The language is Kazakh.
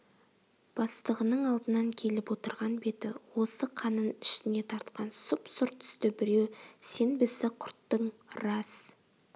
бастығының алдынан келіп отырған беті осы қанын ішіне тартқан сұп-сұр түсті біреу сен бізді құрттың рас